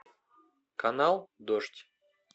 канал дождь